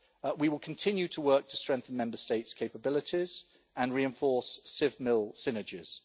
We will continue to work to strengthen Member States' capabilities and reinforce civ-mil synergies.